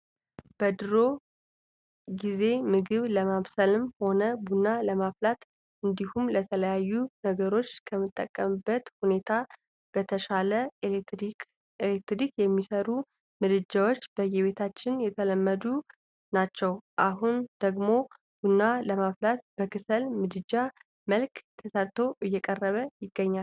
በድሮ ጊዜምግብ ለማብሰልም ሆነ ቡና ለማፍላት እንዲሁም ለተለያዩ ነገሮች ከምንጠቀምበት ሁኔታ በተሻለ በኤሌክትሪክ የሚሰሩ ምድጃዎች በየቤታችን የተለመዱ ናቸው። አሁን ደግሞ ቡና ለማፍላት በክሰል ምድጃ መልክ ተሰርቶ እየቀረበ ይገኛል።